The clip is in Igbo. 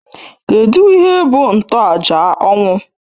Kedụ ihe bụ ntoaja ọnwụ?